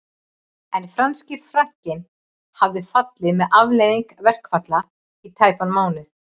En franski frankinn hafði fallið sem afleiðing verkfalla í tæpan mánuð